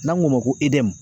N'an k'o ma ko